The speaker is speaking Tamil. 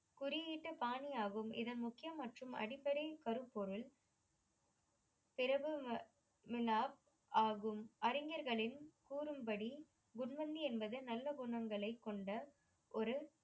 குறியீட்டு பாணி ஆகும் இதன் முக்கிய மற்றும் அடிப்படை கருப்பொருள் முனாப் ஆகும். அறிஞர்களின் கூறும்படி குட்மந்தி என்பது நல்ல குணங்களைக் கொண்ட ஒரு